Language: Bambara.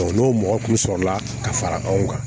n'o mɔgɔ kun sɔrɔla ka fara anw kan